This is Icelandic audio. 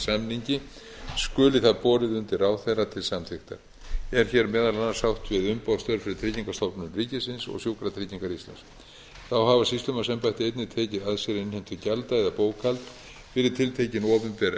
samningi skuli það borið undir ráðherra til samþykktar er hér meðal annars átt við umboðsstörf fyrir tryggingastofnun ríkisins og sjúkratryggingar íslands þá hafa sýslumannsembættin einnig tekið að sér innheimtu gjalda eða bókhald fyrir tiltekin opinber embætti